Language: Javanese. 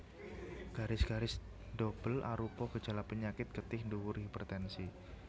Garis garis ndobel arupa gejala penyakit getih dhuwur hipertensi